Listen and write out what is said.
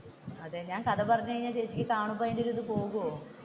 അതെ ഞാൻ കഥ പറഞ്ഞു കഴിഞ്ഞ നീ കാണുമ്പോ അതിന്റെ ഒരു ഇത് പോകുമോ?